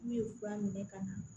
N'u ye fura minɛ ka na